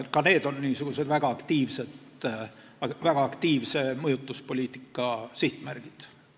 Ka need on väga aktiivse mõjutuspoliitika sihtmärgid.